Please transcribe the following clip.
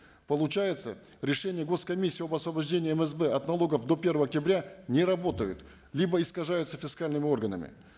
получается решения гос комиссии об освобождении мсб от налогов до первого октября не работают либо искажаются фискальными органами